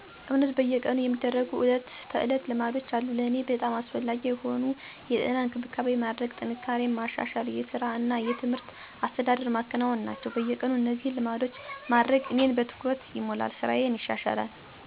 እውነት በየቀኑ የሚደረጉ ተዕለት ልማዶች አሉ። ለእኔ በጣም አስፈላጊ የሆኑት የጤና እንክብካቤ ማድረግ፣ ጥንካሬን ማሻሻል፣ የሥራ እና የትምህርት አስተዳደር ማከናወን ናቸው። በየቀኑ እነዚህን ልማዶች ማድረግ እኔን በትኩረት ይሞላል፣ ሥራዬን ይሻሻላል፣ እንዲሁም በግል እና በማህበረሰብ ግንኙነት አካል ለመሆን ያደርገኛል። እነዚህ ልማዶች አንድ ሰው ከቀን እስከ ሌሊት ሙሉ ስራ በትክክል እንዲከናወን እንዲያደርጉ አስተዳደር ይሰጣሉ።